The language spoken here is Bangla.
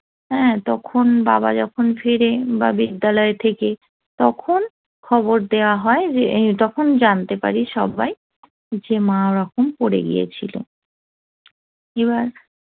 হ্যাঁ তখন বাবা যখন ফিরে বা বিদ্যালয় থেকে তখন খবর দেয়া হয় যে তখন জানতে পারি সবাই যে মা ওরকম পড়ে গিয়েছিল এবার